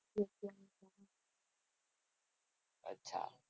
અચ્છા.